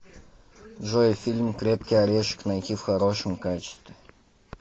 джой фильм крепкий орешек найти в хорошем качестве